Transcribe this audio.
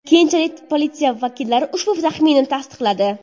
Keyinchalik politsiya vakillari ushbu taxminni tasdiqladi.